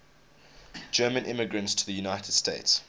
german immigrants to the united states